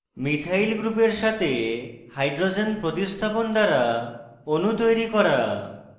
methyl গ্রুপের সাথে hydrogen প্রতিস্থাপন দ্বারা অণু তৈরি করা